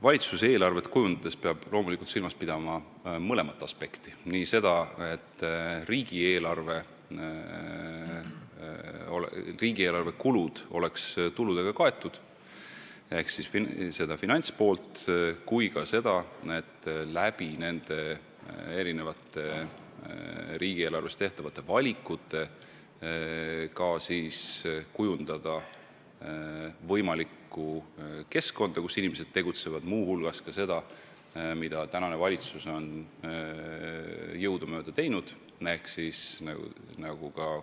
Valitsus peab eelarvet kujundades loomulikult silmas pidama mõlemat aspekti: nii seda, et riigieelarve kulud oleks tuludega kaetud ehk siis finantspoolt, kui ka seda, et riigieelarvet puudutavate valikute abil kujundada võimalikku keskkonda, kus inimesed tegutsevad, pidades muu hulgas silmas ka seda, mida puudutab see infotunni küsimus: et kihistumist vähendada.